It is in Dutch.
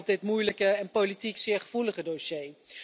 dit moeilijke en politiek zeer gevoelige dossier.